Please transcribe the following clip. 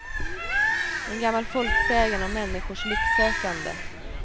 En gammal folksägen om människors lycksökande.